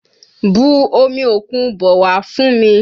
Bu omi òkun bọ̀ wá fún mi!